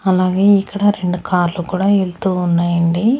అలాగే ఇక్కడ రెండు కార్లు కూడా యెళ్తూ ఉన్నాయండి.